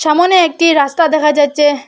সামোনে একটি রাস্তা দেখা যাচ্চে।